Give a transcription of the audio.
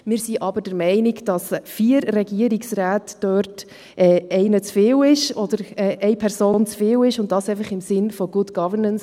Wir sind aber der Meinung, dass bei vier Regierungsräten eine Person zu viel dort ist, und dies einfach im Sinn von Good Governance.